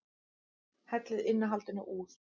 Hellið innihaldinu úr